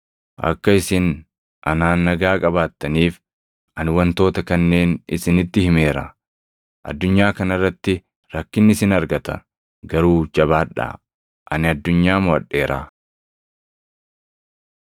“Akka isin anaan nagaa qabaattaniif ani wantoota kanneen isinitti himeera. Addunyaa kana irratti rakkinni isin argata. Garuu jabaadhaa! Ani addunyaa moʼadheeraa.”